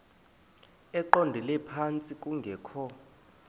eqondele phantsi kungekho